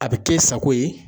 A bi k'e sago ye.